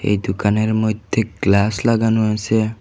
এই দোকানের মইধ্যে গ্লাস লাগানো আসে।